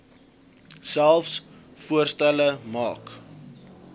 selfs voorstelle maak